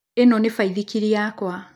Ĩno nĩ baithikiri yakwa